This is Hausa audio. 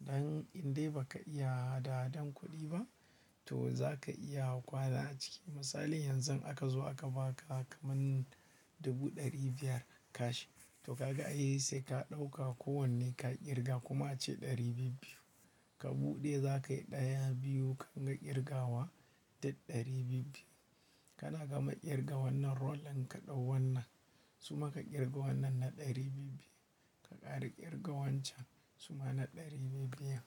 Dan in dai ba ka iya adahadan kuɗi ba to za ka iya kwaza a ciki. Misali yanzu aka zo aka ba ka kaman dubu ɗari biyar kashi, to kaga a yi sai ka ɗauka kowanne ka ƙirga kuma a ce ɗari biyu. Ka buɗe za ka yi ɗaya, biyu kanga ƙirga wa ta ɗari biyu. Kana gama ƙirga wannan rollin ka ɗau wannan suma ka ƙirga wannan na ɗari biyu. Ka ƙara ƙirga wancan suma na ɗari biyu biyar.